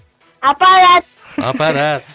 апарады апарады